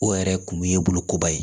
O yɛrɛ kun ye bulukoba ye